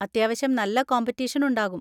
അത്യാവശ്യം നല്ല കോമ്പിറ്റീഷൻ ഉണ്ടാകും.